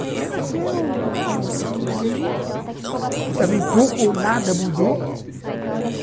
Até nasceu o o menino, que também pouco ou nada mudou.